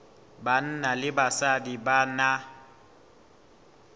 banna le basadi ba na